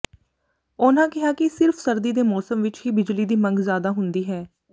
ਉਨ੍ਹਾਂ ਕਿਹਾ ਕਿ ਸਿਰਫ ਸਰਦੀ ਦੇ ਮੌਸਮ ਵਿਚ ਹੀ ਬਿਜਲੀ ਦੀ ਮੰਗ ਜ਼ਿਆਦਾ ਹੁੰਦੀ ਹੈ